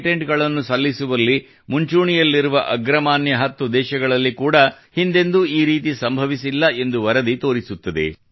ಪೇಟೆಂಟ್ಗಳನ್ನು ಸಲ್ಲಿಸುವಲ್ಲಿ ಮುಂಚೂಣಿಯಲ್ಲಿರುವ ಅಗ್ರಮಾನ್ಯ10 ದೇಶಗಳಲ್ಲಿ ಕೂಡಾ ಹಿಂದೆಂದೂ ಈ ರೀತಿ ಸಂಭವಿಸಿಲ್ಲ ಎಂದು ಈ ವರದಿ ತೋರಿಸುತ್ತದೆ